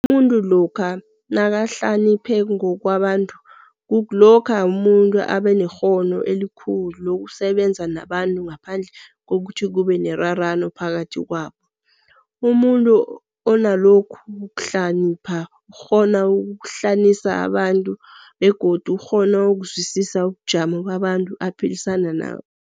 Umumtu lokha nakahlaniphe ngokwabantu kukuklokha umuntu abanekghono elukhulu lokusebenza nabantu ngaphandle kokuthi kube nerarano phakathi kwabo. Umuntu onalokhu kuhlanipha ukghona ukuhlanisa abantu begodu ukghona ukuzwisisa ubunjalo babantu aphilisana nabo.